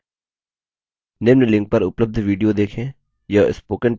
निम्न link पर उपलब्ध video देखें